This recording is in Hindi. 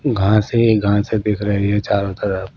घासें ही घासें दिख रही है ये चारों तरफ।